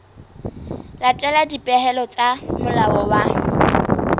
latela dipehelo tsa molao wa